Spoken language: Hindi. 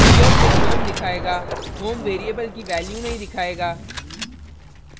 यह सिर्फ home दिखायेगा home variable की value नहीं दिखायेगा